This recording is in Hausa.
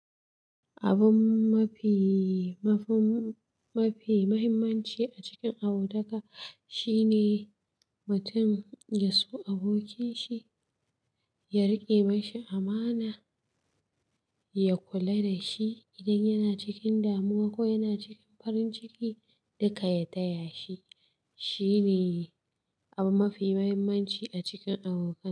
Abun mafi, mafi muhimmanci a cikin abotaka shine mutum ya so abokin shi, ya riƙe mai shi amana, ya kula da shi idan yana cikin damuwa ko yana cikin farin ciki duka ya taya shi. Shi ne abu mafi mahimmanci a cikin abokai.